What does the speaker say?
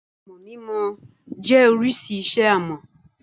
Àmọ̀ mímọ jẹ́ oríṣi iṣẹ́-ọnà.